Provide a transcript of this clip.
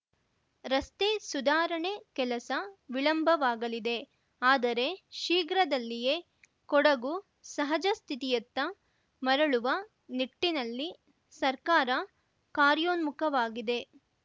ರಸ್ತೆ ಸುಧಾರಣೆ ಕೆಲಸ ವಿಳಂಬವಾಗಲಿದೆ ಆದರೆ ಶೀಘ್ರದಲ್ಲಿಯೇ ಕೊಡಗು ಸಹಜ ಸ್ಥಿತಿಯತ್ತ ಮರಳುವ ನಿಟ್ಟಿನಲ್ಲಿ ಸರ್ಕಾರ ಕಾರ್ಯೋನ್ಮುಖವಾಗಿದೆ